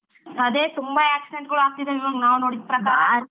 ಅದೇ ತುಂಬಾ accident ಗಳು ಆಗ್ತಿದ್ದಾವೆ ಈಗ ನಾವ್ ನೋಡಿದ್ ಪ್ರಕಾರ .